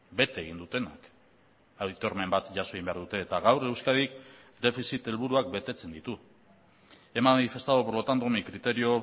bete egin dutenak aitormen bat jaso egin behar dute eta gaur euskadik defizit helburuak betetzen ditu he manifestado por lo tanto mi criterio